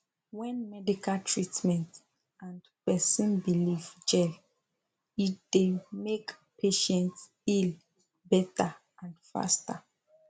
when medical treatment and person belief jell e dey make patients heal better and faster